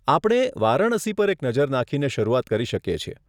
આપણે વારાણસી પર એક નજર નાખીને શરૂઆત કરી શકીએ છીએ.